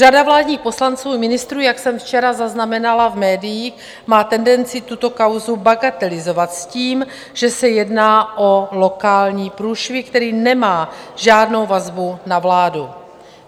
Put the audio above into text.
Řada vládních poslanců i ministrů, jak jsem včera zaznamenala v médiích, má tendenci tuto kauzu bagatelizovat s tím, že se jedná o lokální průšvih, který nemá žádnou vazbu na vládu.